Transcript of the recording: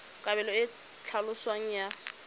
kabelo e e tlhaloswang ya